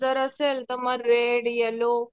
जर असेल तर मग रेड येलो